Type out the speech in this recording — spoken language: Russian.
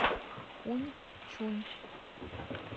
хуньчунь